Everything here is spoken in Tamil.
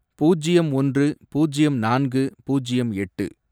பூஜ்யம் ஒன்று, பூஜ்யம் நான்கு, பூஜ்யம் எட்டு